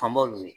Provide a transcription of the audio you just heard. Fanba olu ye